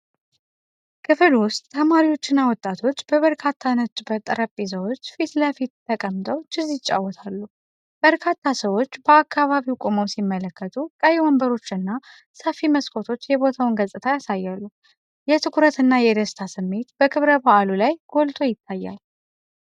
ክፍል ውስጥ፣ ተማሪዎችና ወጣቶች በበርካታ ነጭ ጠረጴዛዎች ፊት ለፊት ተቀምጠው ቼዝ ይጫወታሉ። በርካታ ሰዎች በአካባቢው ቆመው ሲመለከቱ፣ ቀይ ወንበሮችና ሰፊ መስኮቶች የቦታውን ገጽታ ያሳያሉ። የትኩረትና የደስታ ስሜት በክብረ በዓሉ ላይ ጎልቶ ይታያል።